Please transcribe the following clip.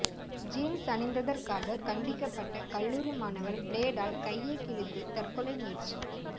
jeans அணிந்ததற்காக கண்டிக்கப்பட்ட கல்லூரி மாணவர் பிளேடால் கையை கிழித்து தற்கொலை முயற்சி